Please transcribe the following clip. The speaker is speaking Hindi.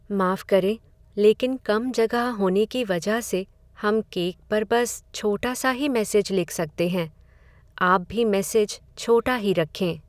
माफ करें, लेकिन कम जगह होने की वजह से, हम केक पर बस छोटा सा ही मैसेज लिख सकते हैं। आप भी मैसेज छोटा ही रखें।